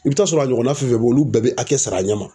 I bɛ t'a sɔrɔ a ɲɔgɔnna fɛn fɛn bɛ yen olu bɛɛ bɛ a hakɛ sara a ɲɛ ma.